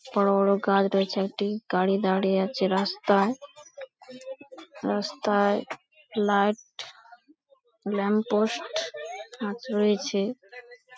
বড় বড় গাছ রয়েছে। একটি গাড়ি দাঁড়িয়ে আছে রাস্তায়। রাস্তায় লাইট ল্যাম্প পোস্ট আচ রয়েছে।